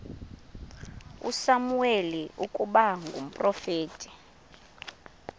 usamuweli ukuba ngumprofeti